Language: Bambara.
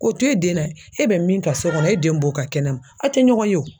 K'o to e den na e bɛ min kɛ so kɔnɔ e den b'o ka kɛnɛma a' te ɲɔgɔn ye o.